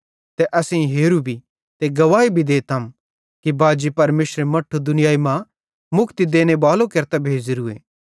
ते असेईं हेरू भी ते गवाही भी देतम कि बाजी परमेशरे मट्ठू दुनियाई मां मुक्ति देनेबालो केरतां भेज़ोरोए